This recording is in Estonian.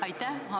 Aitäh!